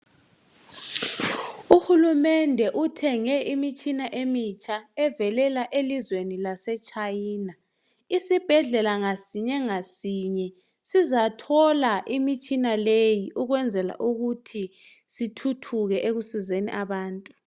Uhulumende uthenge imitshina emitsha evelela elizweni lase China isibhedlela ngasinye ngasinye sizathola imitshina leyi ukwenzela ukuthi sithuthuke ekusizeni abantu